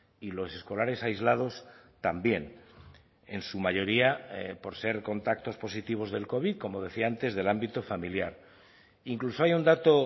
y los escolares aislados también en su mayoría por ser contactos positivos del covid como decía antes del ámbito familiar incluso hay un dato